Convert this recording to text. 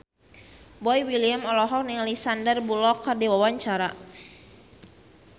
Boy William olohok ningali Sandar Bullock keur diwawancara